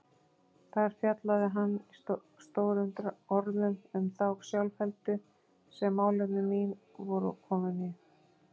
Þar fjallaði hann stórum orðum um þá sjálfheldu sem málefni mín voru komin í.